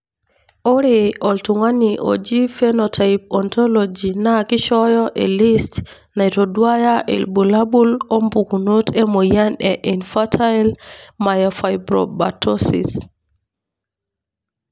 ore oltungani oji Phenotype Ontology na kishoyo elist naitoduaya ilbulabul opukunoto emoyian e Infantile myofibromatosis.